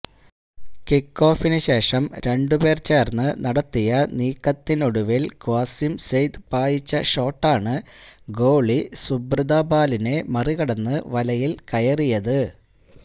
കിക്കോഫിനുശേഷം രണ്ട് പേര് ചേര്ന്ന് നടത്തിയ നീക്കത്തിനൊടുവില് ക്വാസിം സെയ്ദ് പായിച്ച ഷോട്ടാണ് ഗോളി സുബ്രതാപാലിനെ മറികടന്ന് വലയില് കയറിയത്